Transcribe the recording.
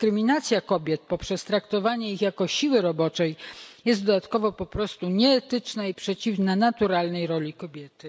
Dyskryminacja kobiet poprzez traktowanie ich jako siły roboczej jest dodatkowo po prostu nieetyczna i przeciwna naturalnej roli kobiety.